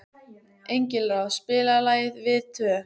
Engilráð, spilaðu lagið „Við tvö“.